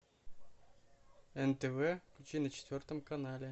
нтв включи на четвертом канале